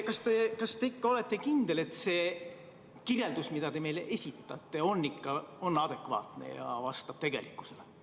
Kas te ikka olete kindel, et see kirjeldus, mida te meile esitate, on adekvaatne ja vastab tegelikkusele?